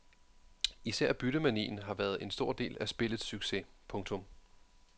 Især byttemanien har været en stor del af spillets succes. punktum